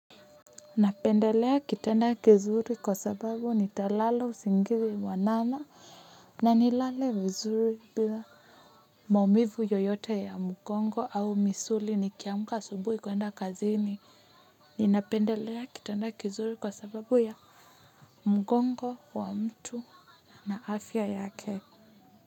Napendelea kitanda kizuri kwa sababu nitalala usingizi mwanana na nilale vizuri bila maumivu yoyote ya mgongo au misuli nikiamka asubuhi kuenda kazini. Ninapendelea kitanda kizuri kwa sababu ya mgongo wa mtu na afya yake.